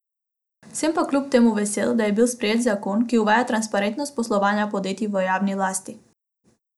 Sem pa kljub temu vesel, da je bil sprejet zakon, ki uvaja transparentnost poslovanja podjetij v javni lasti.